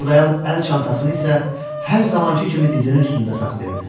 İşıldayan əl çantasını isə hər zamankı kimi dizinin üstündə saxlayırdı.